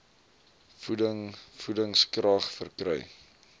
voeding voedingskrag verkry